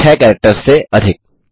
6 characters से अधिक